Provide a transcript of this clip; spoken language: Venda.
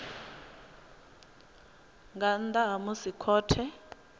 nga nnḓa ha musi khothe